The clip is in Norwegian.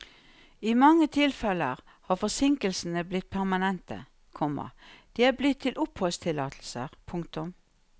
I mange tilfeller har forsinkelsene blitt permanente, komma de er blitt til oppholdstillatelser. punktum